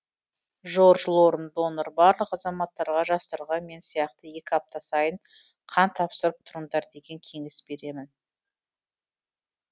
жорж лорн донор барлық азаматтарға жастарға мен сияқты екі апта сайын қан тапсырып тұрыңдар деген кеңес беремін